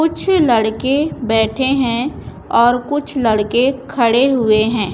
कुछ लड़के बैठे हैं और कुछ लड़के खड़े हुए हैं।